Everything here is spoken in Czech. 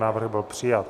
Návrh byl přijat.